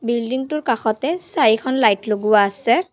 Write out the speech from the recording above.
Building টোৰ কাষতে চাৰিখন লাইট লগোৱা আছে।